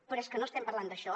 però és que no estem parlant d’això